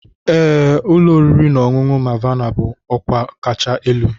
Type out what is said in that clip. Ee, ụlọ oriri na ọṅụṅụ Mavana bụ ọkwa kacha elu.